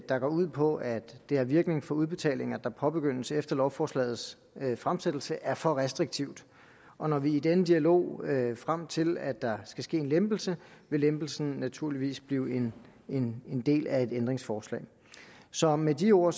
der går ud på at det har virkning for udbetalinger der påbegyndes efter lovforslagets fremsættelse er for restriktivt og når vi i den dialog frem til at der skal ske en lempelse vil lempelsen naturligvis blive en del af et ændringsforslag så med de ord